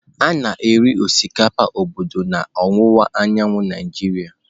A na-eri osikapa obodo n'ọwụwa anyanwụ Naịjirịa.